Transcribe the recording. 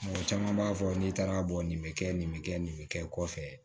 Mɔgɔ caman b'a fɔ n'i taara bɔ nin bɛ kɛ nin bɛ kɛ nin bɛ kɛ kɔfɛ